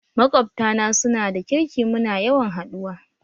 Maƙwabta na su na da kirki muna yawan haɗuwa